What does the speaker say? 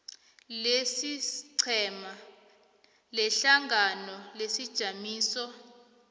lesiqhema lehlangano lesijamiso